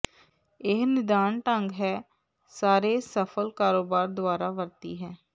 ਇਹ ਨਿਦਾਨ ਢੰਗ ਹੈ ਸਾਰੇ ਸਫਲ ਕਾਰੋਬਾਰ ਦੁਆਰਾ ਵਰਤੀ ਹੈ